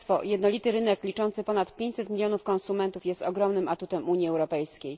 Jednolity rynek liczący ponad 500 milionów konsumentów jest ogromnym atutem Unii Europejskiej.